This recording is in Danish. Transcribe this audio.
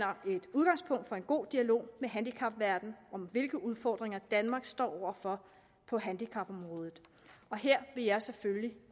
udgangspunkt for en god dialog med handicapverdenen om hvilke udfordringer danmark står over for på handicapområdet her vil jeg selvfølgelig